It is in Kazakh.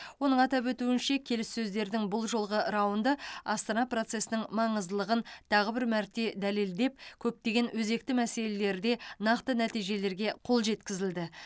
оның атап өтуінше келіссөздердің бұл жолғы раунды астана процесінің маңыздылығын тағы бір мәрте дәлелдеп көптеген өзекті мәселелерде нақты нәтижелерге қол жеткізілді